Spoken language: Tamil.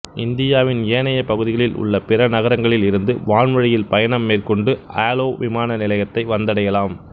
இந்தியாவின் ஏனைய பகுதிகளில் உள்ள பிற நகரங்களில் இருந்து வான்வழியில் பயணம் மேற்கொண்டு ஆலோ விமான நிலையத்தை வந்தடையலாம்